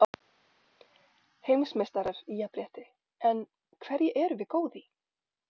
Heimsmeistarar í jafnrétti En hverju erum við góð í?